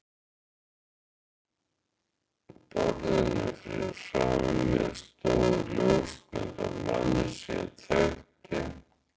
borðinu fyrir framan mig stóð ljósmynd af manni sem ég þekkti.